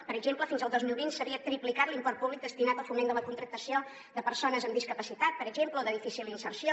per exemple fins al dos mil vint s’havia triplicat l’import públic destinat al foment de la contractació de persones amb discapacitat per exemple o de difícil inserció